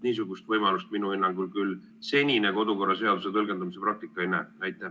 Niisugust võimalust minu hinnangul küll senine kodukorraseaduse tõlgendamise praktika ette ei näe.